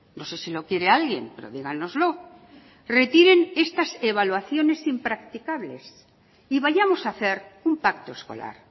no sé si lo quiere alguien pero dígannoslo retiren estas evaluaciones impracticables y vayamos a hacer un pacto escolar